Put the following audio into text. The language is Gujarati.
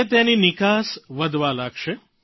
હવે તેની નિકાસ વધવા લાગશે